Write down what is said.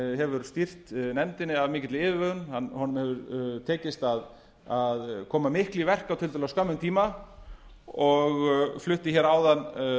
hefur stýrt nefndinni af mikilli yfirvegun honum hefur tekist að koma miklu í verk á tiltölulega skömmum tíma og flutti áðan